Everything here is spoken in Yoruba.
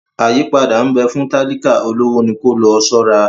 Àyípadà nbè fún talika, olówó ní ko lòó ṣora